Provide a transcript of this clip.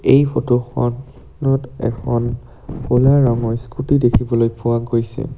এই ফটো খন নত এখন ক'লা ৰঙৰ স্কুটী দেখিবলৈ পোৱা গৈছে।